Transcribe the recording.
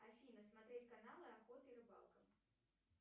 афина смотреть каналы охота и рыбалка